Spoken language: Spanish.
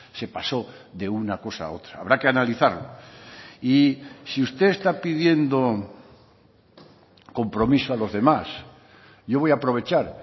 se pasó de una cosa a otra habrá que analizarlo y si usted está pidiendo compromiso a los demás yo voy a aprovechar